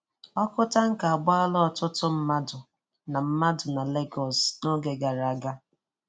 Ọkụ tanka agbala ọtụtụ mmadụ na mmadụ na Legos n'oge gara aga.